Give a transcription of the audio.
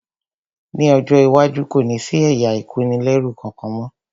Ní ọjọ́ iwájú, kò ní sí ẹ̀yà ìkónilẹ́rú kankan mọ́